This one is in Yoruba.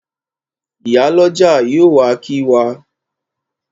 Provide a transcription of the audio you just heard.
Ìyálọ́jà yóò wá kí wa.